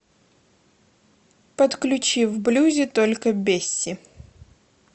подключи в блюзе только бесси